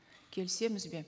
келісеміз бе